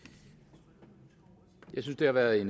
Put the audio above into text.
jeg synes det har været